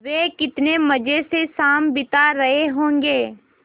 वे कितने मज़े से शाम बिता रहे होंगे